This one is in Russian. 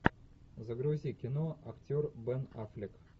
загрузи кино актер бен аффлек